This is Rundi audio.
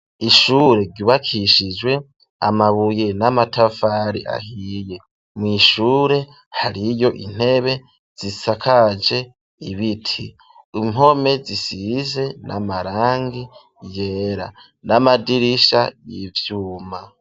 Ishure ryubakishijwe amabuye n'amatafari ahiye, mw'ishure hariyo intebe zisakaje ibiti, impome zisize n'amarangi yera, n'amadirisha y'ivyuma.